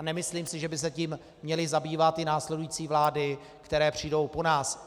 A nemyslím si, že by se tím měly zabývat i následující vlády, které přijdou po nás.